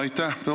Aitäh!